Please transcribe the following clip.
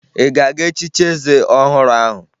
Ị ga-aga echichi eze ọhụrụ ahụ?